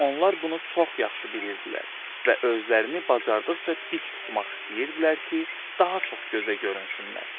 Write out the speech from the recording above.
Onlar bunu çox yaxşı bilirdilər və özlərini bacardıqca dik tutmaq istəyirdilər ki, daha çox gözə görünsünlər.